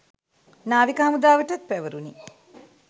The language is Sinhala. නාවික හමුදාවටත් පැවරුණි